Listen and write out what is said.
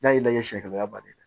N'a y'i la sɛgɛrɛ i b'a bari